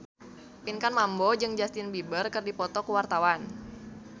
Pinkan Mambo jeung Justin Beiber keur dipoto ku wartawan